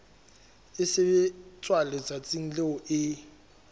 e sebetswa letsatsing leo e